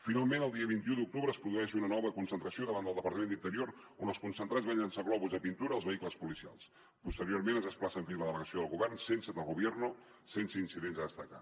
finalment el dia vint un d’octubre es produeix una nova concentració davant del departament d’interior on els concentrats van llançar globus de pintura als vehicles policials posteriorment es desplacen fins a la delegació del govern sense del gobierno incidents a destacar